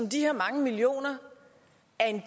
er jeg